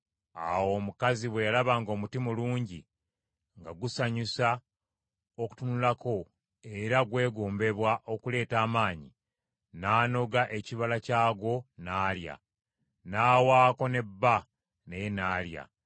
Awo omukazi bwe yalaba ng’omuti mulungi nga gusanyusa okutunulako era gwegombebwa okuleeta amagezi, n’anoga ekibala kyagwo n’alya; n’awaako ne bba naye n’alya.